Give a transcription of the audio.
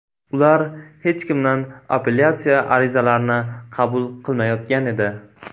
Ular hech kimdan apellyatsiya arizalarini qabul qilmayotgan edi.